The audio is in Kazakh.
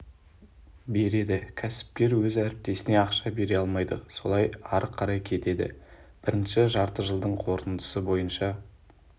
береді кәсіпкер өз әріптесіне ақша бере алмайды солай ары қарай кетеді бірінші жартыжылдықтың қорытындысы бойынша